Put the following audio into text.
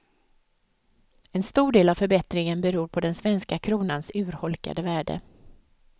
En stor del av förbättringen beror på den svenska kronans urholkade värde.